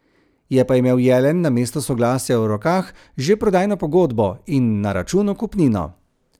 Je pa imel Jelen namesto soglasja v rokah že prodajno pogodbo in na računu kupnino.